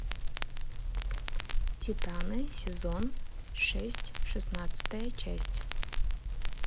титаны сезон шесть шестнадцатая часть